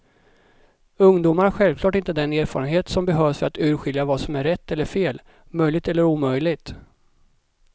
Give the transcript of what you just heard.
Ungdomar har självklart inte den erfarenhet som behövs för att urskilja vad som är rätt eller fel, möjligt eller omöjligt.